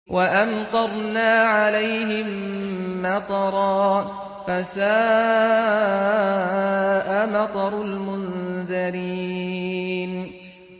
وَأَمْطَرْنَا عَلَيْهِم مَّطَرًا ۖ فَسَاءَ مَطَرُ الْمُنذَرِينَ